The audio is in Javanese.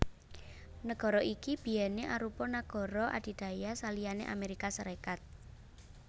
Nagara iki biyèné arupa nagara adidaya saliyané Amérika Sarékat